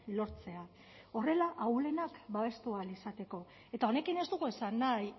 lortzea horrela ahulenak babestu ahal izateko eta honekin ez dugu esan nahi